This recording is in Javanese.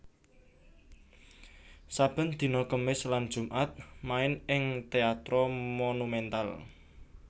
Saben dina Kemis lan Jumat main ing Teatro Monumental